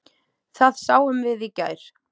Það sáum við í gær.